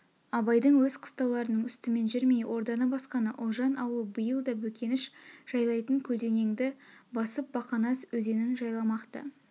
абайдың өз қыстауларының үстімен жүрмей орданы басқаны ұлжан аулы биыл да бөкеніш жайлайтын көлденеңді басып бақанас өзенін жайламақ-ты